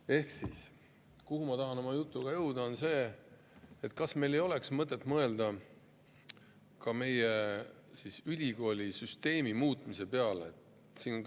Ehk ma tahan oma jutuga jõuda sinna, et meil oleks mõtet mõelda ka meie ülikoolisüsteemi muutmise peale.